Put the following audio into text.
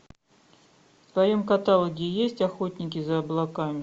в твоем каталоге есть охотники за облаками